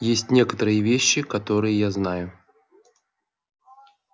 есть некоторые вещи которые я знаю